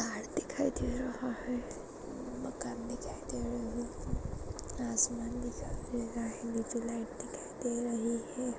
झाड दिखाई दे रहा है मकान दिखाई दे रही है आसमान दिखाई दे रहा हैनिचे लाइट दिखाई दे रही है।